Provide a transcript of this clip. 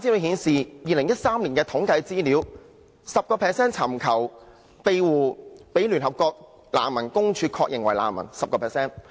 2013年的統計資料顯示 ，10% 尋求庇護的人被聯合國難民署確認為難民。